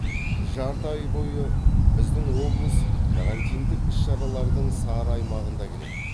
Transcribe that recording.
жарты ай бойы біздің облыс карантиндік іс шаралардың сары аймағында келеді